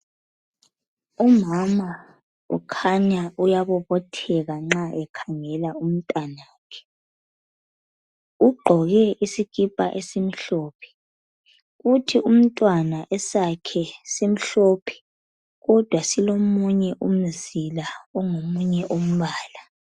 Umama ukhanya uyabobotheka nxa ekhangela umntanakhe. Ugqoke isikipa esimhlophe. Kuthi umntwana esakhe simhlophe kodwa silomunye umzila ongomunye umbala.